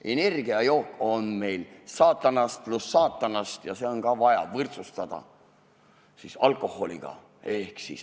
Energiajook on meil ka saatanast ja seegi on vaja võrdsustada alkoholiga.